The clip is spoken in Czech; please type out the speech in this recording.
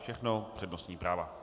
Všechno přednostní práva.